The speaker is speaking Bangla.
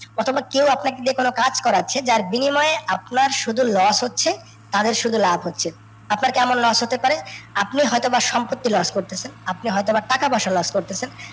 অথবা কেও আপনাকে দিয়ে কোনও কাজ করাচ্ছে জার বিনিময়ে আপনার সুধু loss হচ্ছে, আর ওর শুধু লাভ হচ্ছে। আপনার কেমন loss হতে পারে, আপনি হয়তো বা সম্প্রতি loss করতেছেন, আপনি হয়তো বা টাকা পয়সা loss করতেছেন